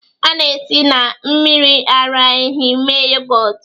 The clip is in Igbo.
A na-esi na mmiri ara ehi mee yogọt